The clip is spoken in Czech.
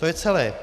To je celé.